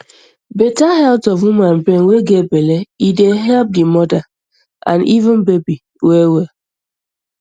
better health of woman brain way get um belle e dey help di mother and even baby well well